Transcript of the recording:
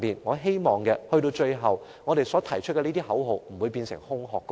我希望我們提出的口號不會變成空中樓閣。